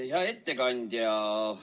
Hea ettekandja!